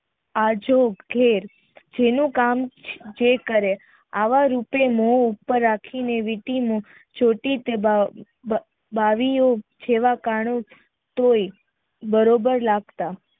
જેના કામ જે કરે આવા રૂપે પર રાખીને તોય બરાબર લગતા